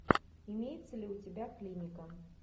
имеется ли у тебя клиника